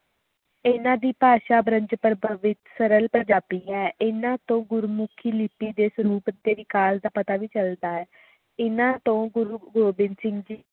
ਹਨ ਦੀ ਭਾਸ਼ਾ ਵਿਚ ਸਰਲ ਪੰਜਾਬੀ ਹੈ ਇਹਨਾਂ ਤੋਂ ਗੁਰਮੁਖੀ ਲਿਪੀ ਦੇ ਸਰੂਪ ਅਤੇ ਵਿਕਾਸ ਦਾ ਤਾ ਵੀ ਚਲਦਾ ਹੈ ਇਹਨਾਂ ਤੋਂ ਗੁਰੂ ਗੋਬਿੰਦ ਚਿੰਤਿਤ